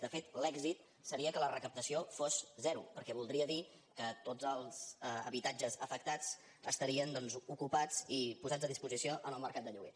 de fet l’èxit seria que la recaptació fos zero perquè voldria dir que tots els habitatges afectats estarien doncs ocupats i posats a disposició en el mercat de lloguer